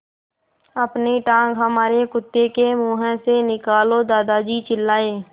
अपनी टाँग हमारे कुत्ते के मुँह से निकालो दादाजी चिल्लाए